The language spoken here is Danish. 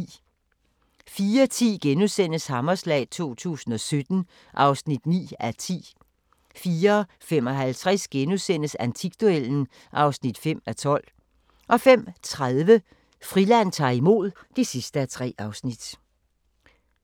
04:10: Hammerslag 2017 (9:10)* 04:55: Antikduellen (5:12)* 05:30: Friland ta'r imod (3:3)